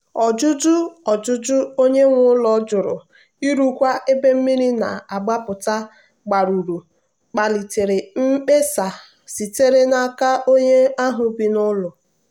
ọjụjụ ọjụjụ onye nwe ụlọ jụrụ ịrụkwa ebe mmiri na-agbapụta agbarụ kpalitere mkpesa sitere n'aka onye ahụ bi n'ụlọ.